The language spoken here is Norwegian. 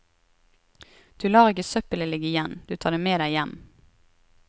Du lar ikke søppelet ligge igjen, du tar det med deg hjem.